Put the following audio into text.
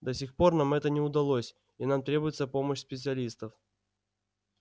до сих пор нам это не удалось и нам требуется помощь специалистов